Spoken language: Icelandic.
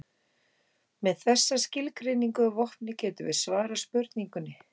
Með þessa skilgreiningu að vopni getum við svarað spurningunni.